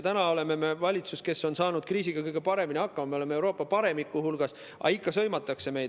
Nüüd on valitsus saanud kriisiga kõige paremini hakkama, me oleme Euroopa paremiku hulgas, aga ikka meid sõimatakse.